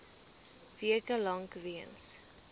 weke lank weens